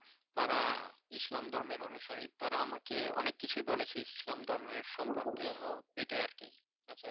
তারা ইসলাম ধর্মের অনুসারী তারা আমাকে অনেক কিছুই বলেছে ইসলাম ধর্মের সম্পর্কে সেটাই আর কি। আচ্ছা